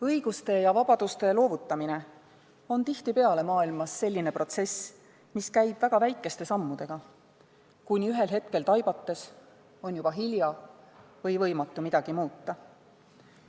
Õiguste ja vabaduste loovutamine on tihtipeale maailmas selline protsess, mis käib väga väikeste sammudega, kuni ühel hetkel taibates on juba hilja või võimatu midagi muuta.